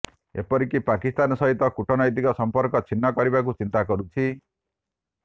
ଏପରିକି ପାକିସ୍ତାନ ସହିତ କୁଟନୈତିକ ସଂପର୍କ ଛିନ୍ନ କରିବାକୁ ଚିନ୍ତା କରୁଛି